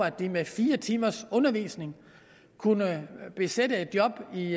at de med fire timers undervisning kunne besætte et job i